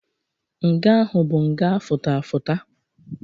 Nga ahụ bụ nga afụta afụta.